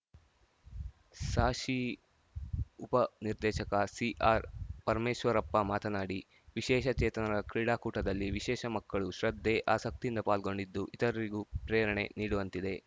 ಸಾಶಿ ಉಪ ನಿರ್ದೇಶಕ ಸಿಆರ್‌ಪರಮೇಶ್ವರಪ್ಪ ಮಾತನಾಡಿ ವಿಶೇಷ ಚೇತನರ ಕ್ರೀಡಾಕೂಟದಲ್ಲಿ ವಿಶೇಷ ಮಕ್ಕಳು ಶ್ರದ್ಧೆ ಆಸಕ್ತಿಯಿಂದ ಪಾಲ್ಗೊಂಡಿದ್ದು ಇತರರಿಗೂ ಪ್ರೇರಣೆ ನೀಡುವಂತಿದೆ